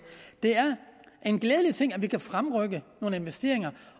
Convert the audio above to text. det er en glædelig ting at vi kan fremrykke nogle investeringer